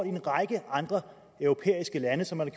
i en række andre europæiske lande og som man